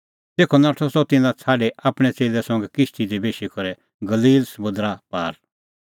तेखअ नाठअ सह तिन्नां छ़ाडी आपणैं च़ेल्लै संघै किश्ती दी बेशी करै गलील समुंदरा पार